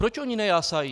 Proč oni nejásají?